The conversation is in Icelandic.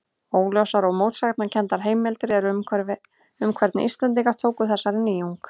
Óljósar og mótsagnakenndar heimildir eru um hvernig Íslendingar tóku þessari nýjung.